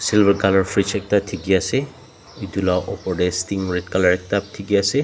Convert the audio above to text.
silver colour fridge ekta diki asae etu la opor dae sting red colour ekta diki asae.